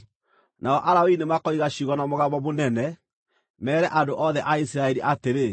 Nao Alawii nĩmakoiga ciugo na mũgambo mũnene, meere andũ othe a Isiraeli atĩrĩ: